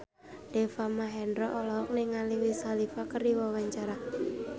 Deva Mahendra olohok ningali Wiz Khalifa keur diwawancara